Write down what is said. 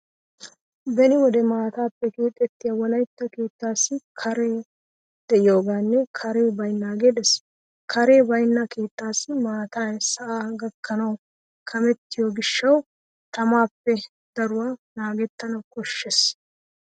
Beni wode maataappe keexettiya wolaytta keettaassi kaaray de'iyogeenne kaaray baynnaagee de'ees. Kaaray baynna keettaassi maatay sa'aa gakkanawu kamettiyo gishshawu tamaappe daruwa naagettana koshshees.